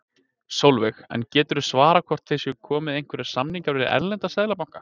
Sólveig: En geturðu svarað hvort það séu komnir einhverjir samningar við erlenda seðlabanka?